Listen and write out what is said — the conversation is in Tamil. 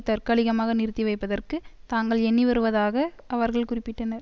தற்காலிகமாக நிறுத்திவைப்பதற்கு தாங்கள் எண்ணிவருவதாக அவர்கள் குறிப்பிட்டனர்